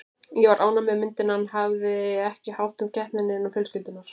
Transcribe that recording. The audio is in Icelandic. Ég var ánægð með myndina en hafði ekki hátt um keppnina innan fjölskyldunnar.